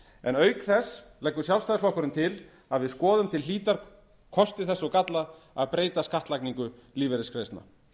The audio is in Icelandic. en auk þess leggur sjálfstæðisflokkurinn til að við skoðum til hlítar kosti þess og galla að breyta skattlagningu lífeyrisgreiðslna